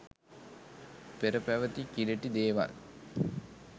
පෙර පැවැති කිලිටි දේවල්